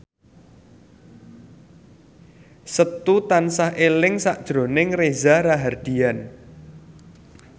Setu tansah eling sakjroning Reza Rahardian